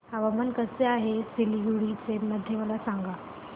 हवामान कसे आहे सिलीगुडी मध्ये मला सांगा